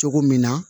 Cogo min na